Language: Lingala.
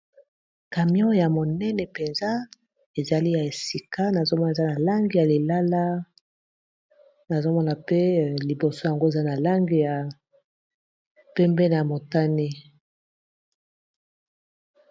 camion ya monene mpenza ezali ya esika nazomona eza na langi ya lilala nazomona pe liboso yango eza na langi ya pembe na motani